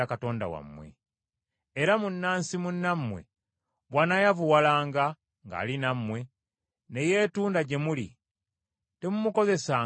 “Era munnansi munnammwe bw’anaayavuwalanga ng’ali nammwe, ne yeetunda gye muli, temumukozesanga nga muddu.